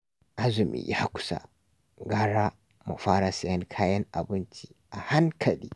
Azumi ya kusa, gara mu fara sayen kayan abinci a hankali